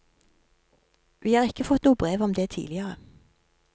Vi har ikke fått noe brev om det tidligere.